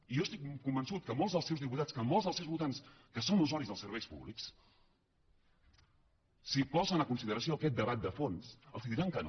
i jo estic convençut que molts dels seus diputats que molts dels seus votants que són usuaris dels serveis públics si posen a consideració aquest debat de fons els diran que no